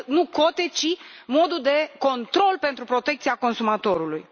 Nu cote, ci modul de control pentru protecția consumatorului.